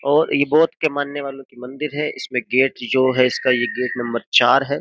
और इ बौद्ध के मानने वालों की मंदिर है इसमें गेट जो है इसका ये गेट नंबर चार हैं।